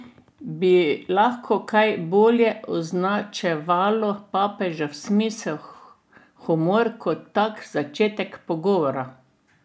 Bi lahko kaj bolje označevalo papežev smisel humor kot tak začetek pogovora?